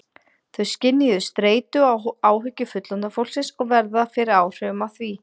Þau skynja streitu og áhyggjur fullorðna fólksins og verða fyrir áhrifum af því.